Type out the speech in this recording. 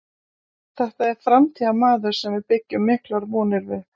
Þetta er framtíðarmaður sem við byggjum miklar vonir við.